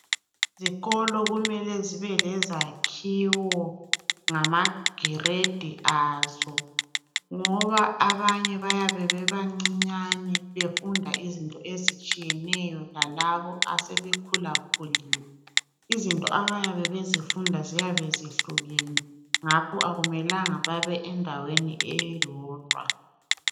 Izikolo kumele zibe lezakhiwo ngamagiredi azo, ngoba abanye bayabe bebancinyane Befunda izinto ezitshiyeneyo lalabo asebekhulakhulile. Izinto abayabe bezifunda ziyabe zihlukene , ngakho kakumelanga babe endaweni eyodwa.